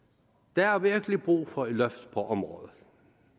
der er virkelig brug for et løft på området